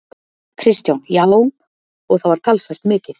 Kristján: Já, og það var talsvert mikið?